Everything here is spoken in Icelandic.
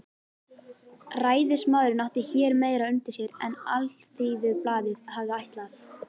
Ræðismaðurinn átti hér meira undir sér en Alþýðublaðið hafði ætlað.